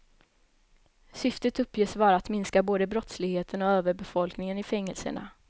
Syftet uppges vara att minska både brottsligheten och överbefolkingen i fängelserna.